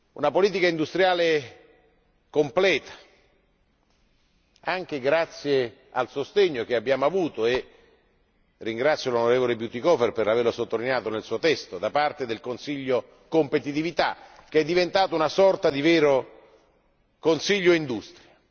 Una politica industriale completa, anche grazie al sostegno che abbiamo avuto e ringrazio l'onorevole Bütikofer per averlo sottolineato nel suo testo da parte del Consiglio Competitività, che è diventato una sorta di vero Consiglio Industria.